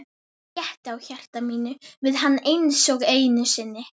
Ég létti á hjarta mínu við hann einsog einu sinni.